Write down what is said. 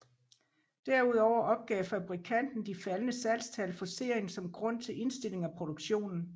Derudover opgav fabrikanten de faldende salgstal for serien som grund til indstilling af produktionen